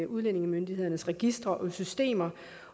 udlændingemyndighedernes registre og systemer